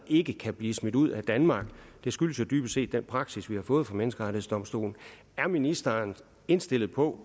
ikke kan blive smidt ud af danmark det skyldes jo dybest set den praksis vi har fået fra menneskerettighedsdomstolen er ministeren indstillet på